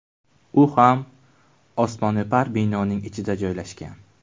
U ham osmono‘par binoning ichida joylashgan.